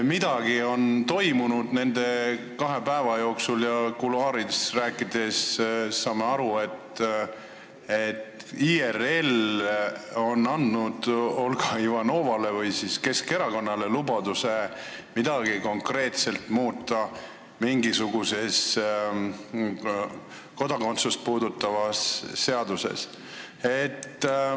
Midagi on nende kahe päeva jooksul toimunud ja kuluaarides rääkides oleme aru saanud, et IRL on andnud Olga Ivanovale või siis Keskerakonnale lubaduse midagi konkreetselt muuta mingisuguses kodakondsust puudutavas seaduses.